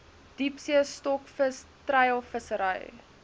diepsee stokvis treilvissery